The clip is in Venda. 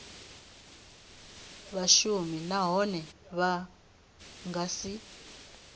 vhashumi nahone vha nga si